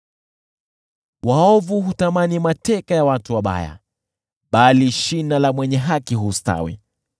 Waovu hutamani mateka ya watu wabaya, bali shina la mwenye haki hustawi.